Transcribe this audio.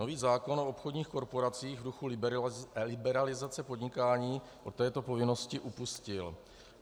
Nový zákon o obchodních korporacích v duchu liberalizace podnikání od této povinnosti upustil.